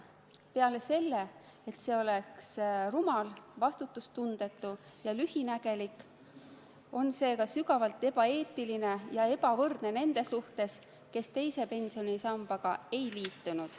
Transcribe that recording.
Peale selle, et see oleks rumal, vastutustundetu ja lühinägelik, on see ka sügavalt ebaeetiline ja ülekohtune nende suhtes, kes teise pensionisambaga ei liitunud.